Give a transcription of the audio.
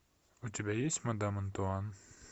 у тебя есть мадам антуан